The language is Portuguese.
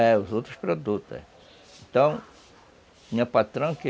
É, os outros produtos, é. Então, tinha patrão que...